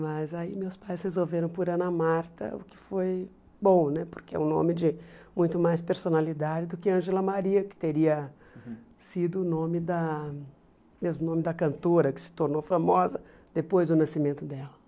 Mas aí meus pais resolveram por Ana Marta, o que foi bom né, porque é um nome de muito mais personalidade do que Ângela Maria, que teria sido o nome da mesmo nome da cantora que se tornou famosa depois do nascimento dela.